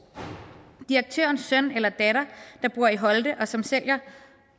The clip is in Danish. direktørens søn eller datter der bor i holte og som sælger